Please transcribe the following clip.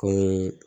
Koi